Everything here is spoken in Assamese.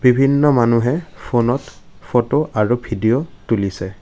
বিভিন্ন মানুহে ফোনত ফটো আৰু ভিডিঅ' তুলিছে।